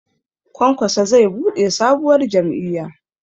Kwankwaso zai buɗe sabuwar jam'iyya